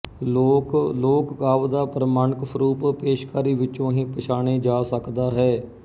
ਲੋਕ ਲੋਕ ਕਾਵਿ ਦਾ ਪ੍ਰਮਾਣਿਕ ਸਰੂਪ ਪੇਸ਼ਕਾਰੀ ਵਿਚੋਂ ਹੀ ਪਛਾਣੇ ਜਾ ਸਕਦਾ ਹੈ